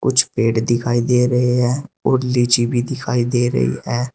कुछ पेड़ दिखाई दे रहे हैं और लीची भी दिखाई दे रही है।